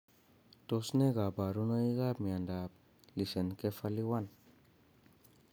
Tos ne kaborunoikab miondop lissencephaly 1?